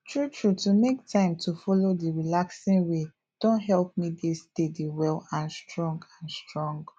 true true to make time to follow d relaxing way don help me dey steady well and strong and strong